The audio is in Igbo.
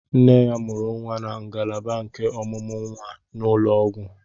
Nne ya mụrụ nwa na ngalaba nke ọmụmụ nwa n'ụlọ ọgwụ.